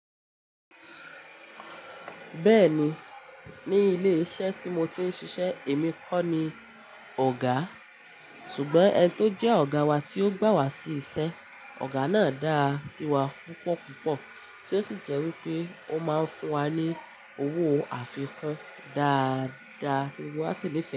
Bẹ́ẹ̀ni, ní ilé iṣẹ́ tí mo ti ń ṣiṣẹ́ èmi kọ́ ni ọ̀gá ṣùgbọ́n ẹni tó jẹ́ ọ̀gá wa tí ó gbà wá sí iṣẹ́. Ọ̀gá náà dáa sí wa púpọ̀ púpọ̀ tí ó sì jẹ́ wí pé ó máa ń fún wa ní owó àfikún dáadáa tí gbogbo wá sì nifẹ́ ẹ.